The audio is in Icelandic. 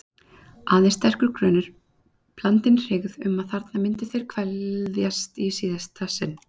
Aðeins sterkur grunur, blandinn hryggð, um að þarna myndu þeir kveðjast í síðasta sinn.